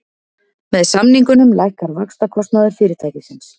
Með samningunum lækkar vaxtakostnaður fyrirtækisins